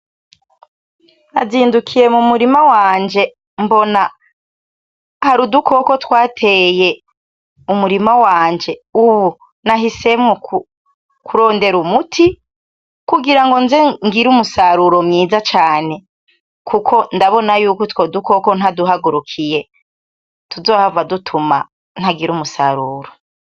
nazindukiye mumurima wanje mbona hari udukoko twateye mumurima wanje, ubu nahisemwo kurondera umuti kugira ngo nze ngire umusaruro mwiza cane kuko ndabona yuko utwo dukoko ntaduhagurukiye tuzohava dutuma ntagira umusaruro.